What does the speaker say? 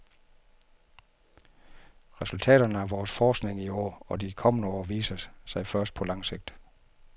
Resultaterne af vores forskning i år og de kommende år viser sig først på langt sigt.